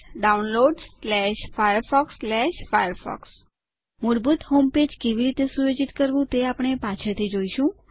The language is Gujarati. downloadsfirefoxફાયરફોક્સ સુધી મૂળભૂત હોમપેજ કેવી રીતે સુયોજિત કરવું તે આપણે પાછળથી જોશું